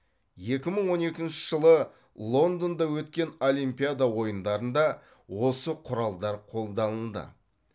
екі мың он екінші жылы лондонда өткен олимпиада ойындарында осы құралдар қолданылды